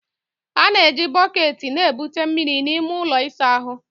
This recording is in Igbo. A na-eji bọket na-ebute mmiri n'ime ụlọ ịsa ahụ.